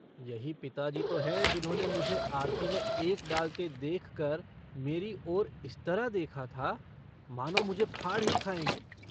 यही पिताजी तो हैं जिन्होंने मुझे आरती में एक डालते देखकर मेरी ओर इस तरह देखा था मानों मुझे फाड़ ही खायेंगे।